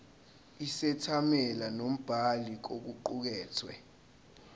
isethameli nombhali kokuqukethwe